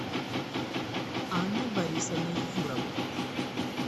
анной борисовной юровой